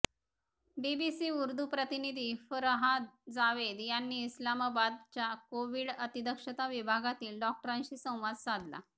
BBC Urdu प्रतिनिधी फरहाद जावेद यांनी इस्लामाबादच्या कोव्हिड अतिदक्षता विभागातील डॉक्टरांशी संवाद साधला